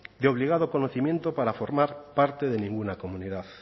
de obligado conocimiento para formar parte de ninguna comunidad